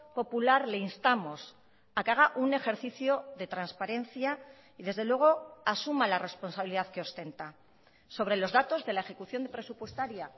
popular le instamos a que haga un ejercicio de transparencia y desde luego asuma la responsabilidad que ostenta sobre los datos de la ejecución presupuestaria